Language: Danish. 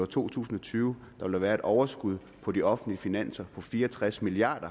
to tusind og tyve ville være et overskud på de offentlige finanser på fire og tres milliard